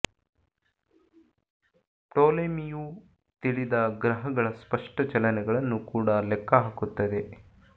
ಪ್ಟೋಲೆಮಿಯು ತಿಳಿದ ಗ್ರಹಗಳ ಸ್ಪಷ್ಟ ಚಲನೆಗಳನ್ನು ಕೂಡಾ ಲೆಕ್ಕ ಹಾಕುತ್ತದೆ